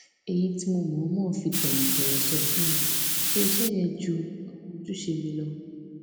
èyí tí mo mo fi tòwòtòwò sọ fún un pé iṣé yẹn ju àwọn ojúṣe mi lọ